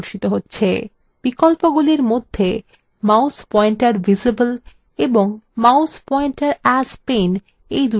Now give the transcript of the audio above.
বিকল্পগুলির মধ্যে mouse pointer visible in mouse pointer as pen তে check দিন